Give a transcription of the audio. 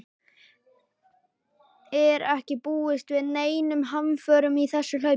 Er ekki búist við neinum hamförum í þessu hlaupi?